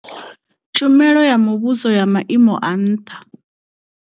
Tshumelo ya muvhuso ya Maimo a nṱha.